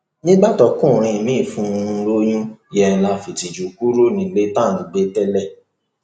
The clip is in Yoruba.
nígbà tọkùnrin miín fún un lóyún yẹn la fìtìjú kúrò nílé tá à ń gbé tẹlẹ